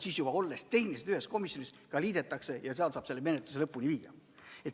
Siis, olles juba tehniliselt ühes komisjonis, need eelnõud liidetakse ja seal saab menetluse lõpuni viia.